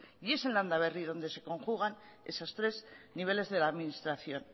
y es en landaberri donde se conjugan esos tres niveles de la administración